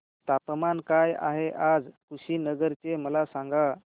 तापमान काय आहे आज कुशीनगर चे मला सांगा